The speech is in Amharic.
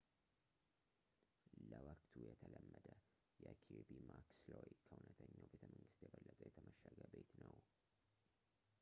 ለወቅቱ የተለመደ የኪርቢ ማክስሎይ ከእውነተኛው ቤተመንግስት የበለጠ የተመሸገ ቤት ነው